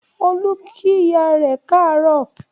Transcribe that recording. Olú kí ìyá rẹ káàárọ̀